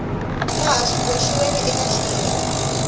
laha swi boxiweke eka xiyenge